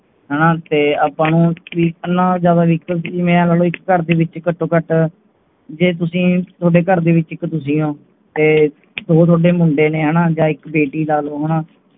ਹਾਣਾ ਤੇ ਆਪਨੂੰ ਇਹਨਾਂ ਜਾਦਾ vehicle ਜਿਵੇ ਆ ਲਾਲੋ ਇੱਕ ਘਰ ਦੇ ਵਿਚ ਹੀ ਘਟੋ ਘਟ ਜੇ ਤੁੱਸੀ ਤੁਹਾਡੇ ਘਰ ਦੇ ਵਿੱਚ ਇਕ ਦੂਜੀ ਹੋ ਤੇ ਦੋ ਤੁਹਾਡੇ ਮੂੰਡੇ ਨੇ ਹਾਣਾ ਜਾ ਇਕ ਬੇਟੀ ਲਾਲੋ